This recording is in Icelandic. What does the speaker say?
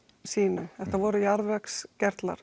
sýnum þetta voru